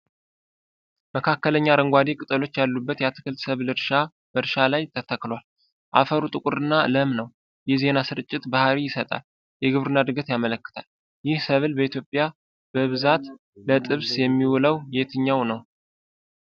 መካከለኛ አረንጓዴ ቅጠሎች ያሉት የአትክልት ሰብል በእርሻ ላይ ተተክሏል። አፈሩ ጥቁር እና ለም ነው። የዜና ስርጭት ባህሪይ ይሰጣል። የግብርና እድገት ያመለክታል። ይህ ሰብል በኢትዮጵያ በብዛት ለጥብስ የሚውለው የትኛው ነው?